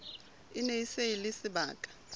e ne e le sebaka